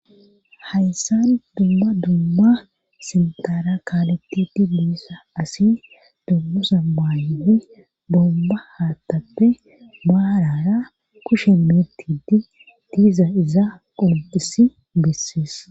hayssan dumma dumma sintara kaalettidi biissa asi dummasa baay bomba haattappe baarara kushe metidi diiza izaa qolqis bessees